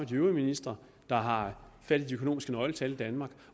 de øvrige ministre der har fat i de økonomiske nøgletal i danmark